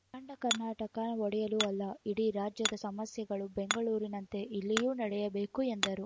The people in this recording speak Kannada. ಅಖಂಡ ಕರ್ನಾಟಕ ಒಡೆಯಲು ಅಲ್ಲ ಇಡೀ ರಾಜ್ಯದ ಸಮಸ್ಯೆಗಳು ಬೆಂಗಳೂರಿನಂತೆ ಇಲ್ಲಿಯೂ ನಡೆಯಬೇಕು ಎಂದರು